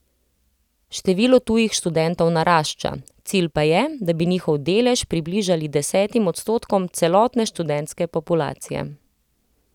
Število tujih študentov narašča, cilj pa je, da bi njihov delež približali desetim odstotkom celotne študentske populacije.